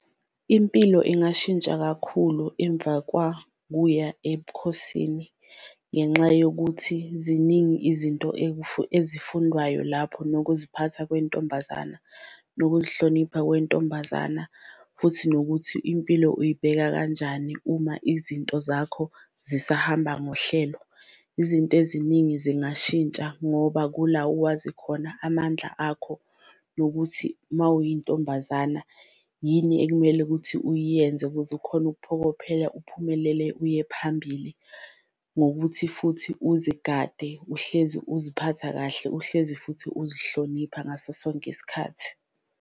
Impilo ingashintsha kakhulu emva kwakuya ebukhosini ngenxa yokuthi ziningi izinto ezifundwayo lapho nokuziphatha kwentombazana, ukuzihlonipha kwentombazana, futhi nokuthi impilo uyibheka kanjani uma izinto zakho zisahamba ngohlelo. Izinto eziningi zingashintsha ngoba kula owazi khona amandla akho nokuthi uma uyintombazana yini ekumele ukuthi uyiyenze, ukuze ukhone ukuphokophela, uphumelele uye phambili. Ngokuthi futhi uzigade uhlezi uziphatha kahle, uhlezi futhi uzihlonipha ngaso sonke isikhathi.